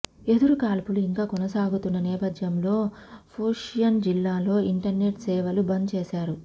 ఎదురుకాల్పులు ఇంకా కొనసాగుతున్న నేపథ్యంలో షోపియన్ జిల్లాలో ఇంటర్నెట్ సేవలు బంద్ చేశారు